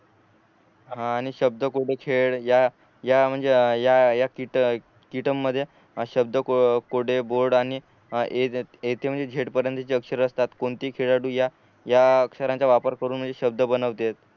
हा आणि शब्द कोळे खेळ या या म्हणजे या या कीटमध्ये शब्द कोळे बोर्ड आणि ए टू झेड पर्यंतचे जे अक्षर असतात कोणतेही खेळाडू या या अक्षरांचा वापर करून म्हणजे शब्द बनवतेत